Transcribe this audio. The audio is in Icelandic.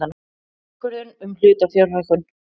Ákvörðun um hlutafjárhækkun.